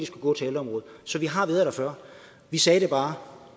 skulle gå til ældreområdet så vi har været der før vi sagde det bare